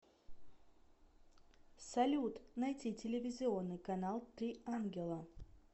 салют найти телевизионный канал три ангела